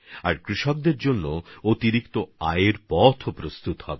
আর কৃষকদের জন্য অতিরিক্ত আয়ের একটা পথও তৈরি হবে